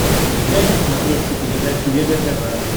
включай на смотрешке передачу егэ тв